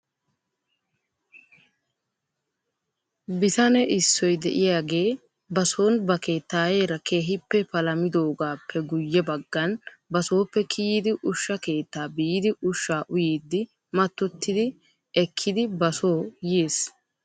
Bitane issoy diyaagee ba son ba keettaayeera keehippe palamidoogaappe guyye baggan basooppe kiyidi ushsha keettaa biidi ushshaa uyiddi mattoti ekkidi ba soo yiis.